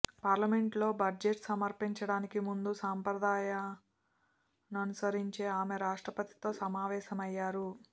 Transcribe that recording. పార్లమెంటులో బడ్జెట్ సమర్పించడానికి ముందు సంప్రదాయాన్ననుసరించి ఆమె రాష్ట్రపతితో సమావేశమయ్యారు